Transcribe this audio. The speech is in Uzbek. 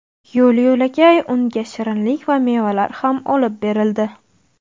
Yo‘l-yo‘lakay unga shirinlik va mevalar ham olib berildi.